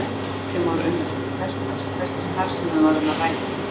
Kristján Már Unnarsson: Hvers lags, hvers lags starfsemi var um að ræða?